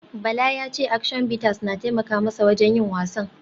Bala ya ce Action Bitters na taimaka masa wajen yin wasan